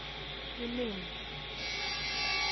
elimi